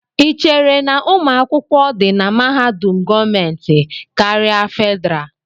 Ị chere na ụmụ akwụkwọ di na mahadum gọọmentị karịa Fedrá?